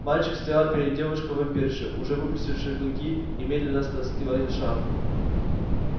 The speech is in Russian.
мальчик стоял перед девушкой-вампиршей уже выпустившей клыки и медленно стаскивал шарф